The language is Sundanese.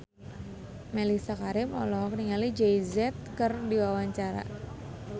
Mellisa Karim olohok ningali Jay Z keur diwawancara